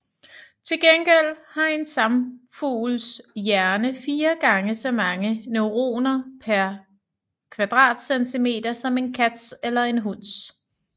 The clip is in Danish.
Til gengæld har en sangfugls hjerne fire gange så mange neuroner pr cm3 som en kats eller en hunds